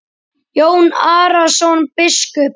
Jón Arason biskup